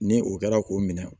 Ni o kɛra k'o minɛ